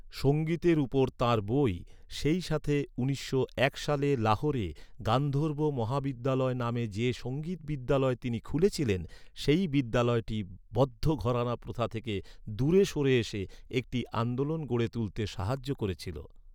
সঙ্গীতের উপর তাঁর বই, সেইসাথে উনিশশো এক সালে লাহোরে গান্ধর্ব মহাবিদ্যালয় নামে যে সঙ্গীত বিদ্যালয় তিনি খুলেছিলেন, সেই বিদ্যালয়টি বদ্ধ ঘরানা প্রথা থেকে দূরে সরে এসে একটি আন্দোলন গড়ে তুলতে সাহায্য করেছিল।